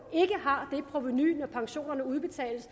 når pensionerne udbetales